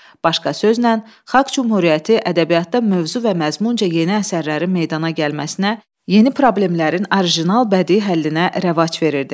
Başqa sözlə, Xalq Cümhuriyyəti ədəbiyyatda mövzu və məzmunca yeni əsərlərin meydana gəlməsinə, yeni problemlərin orijinal bədii həllinə rəvac verirdi.